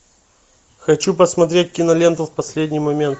хочу посмотреть киноленту в последний момент